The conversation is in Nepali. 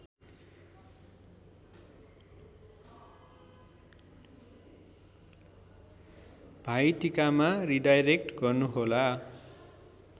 भाइटीकामा रिडाइरेक्ट गर्नुहोला